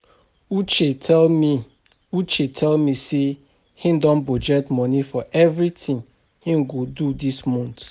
Uche tell me uche tell me say he don budget money for everything he go do dis month